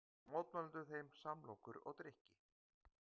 Gáfu mótmælendur þeim samlokur og drykki